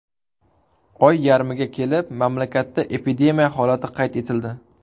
Oy yarmiga kelib, mamlakatda epidemiya holati qayd etildi.